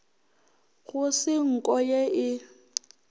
go se nko ye e